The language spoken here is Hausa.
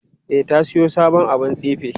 E, ta siyo sabon abun tsife.